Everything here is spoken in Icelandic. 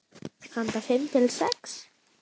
Handa fimm til sex